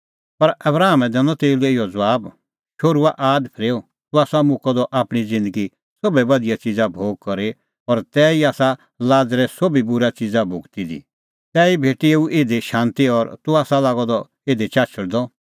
पर आबरामै दैनअ तेऊ लै इहअ ज़बाब शोहरूआ आद फरेऊ तूह आसा मुक्कअ द आपणीं ज़िन्दगी सोभै बधिया च़िज़ा भोगी और तिहअ ई लाज़रै आसा भोगी दी सोभ बूरी च़िज़ा तैही भेटी एऊ इधी शांती और तूह आसा लागअ द इधी चाछल़दअ